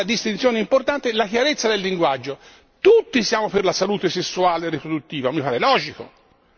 Seconda distinzione importante è la chiarezza del linguaggio tutti siamo per la salute sessuale e riproduttiva, mi pare logico.